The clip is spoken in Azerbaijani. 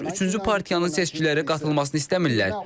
Onlar üçüncü partiyanın seçkilərə qatılmasını istəmirlər.